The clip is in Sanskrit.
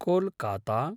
कोलकाता